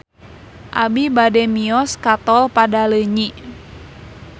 Abi bade mios ka Tol Padaleunyi